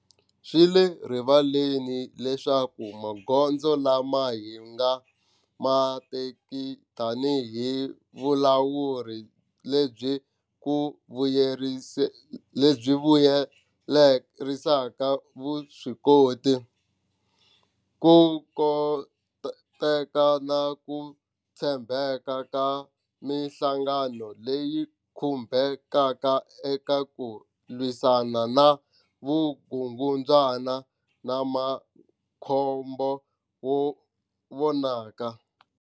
Swi le rivaleni leswaku magondzo lama hi nga ma teki tanihi vulawuri lebyi ku vuyelerisa vuswikoti, ku koteka na ku tshembeka ka mihlangano leyi khumbekaka eka ku lwisana na vukungundzwana ma na makhombo wo vonaka.